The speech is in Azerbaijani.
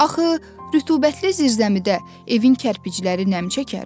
Axı rütubətli zirzəmidə evin kərpicləri nəm çəkər?